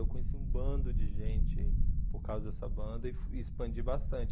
Eu conheci um bando de gente por causa dessa banda e expandi bastante.